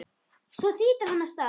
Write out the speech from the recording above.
Svo þýtur hann af stað.